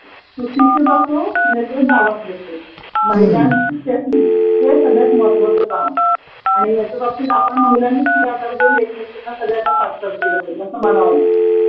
सुशिक्षित असो नाहीतर गावातले असो, महिलांनची सेफ्टी हे सगळ्यात महत्त्वाचं काम आहे आणि ह्याच्याबाबतीत आपण महिलांनीचं पुढाकार घेऊन एकमेकींना सगळ्यांना साश्रर केलं पाहिजे असं मला तरी वाटतं.